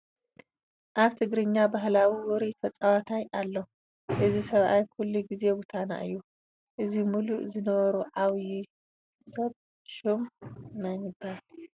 ኣብ ትግራኛ ባህላዊ ውሩይ ተፃዋታይ ኣሎ፡፡ እዚ ሰብኣይ ኩሉ ጊዜ ጐተና እዩ፡፡ እዚ ሙሉእ ዝነብሩ ዓብዪ ሰብ ሽሙ መን ይበሃል?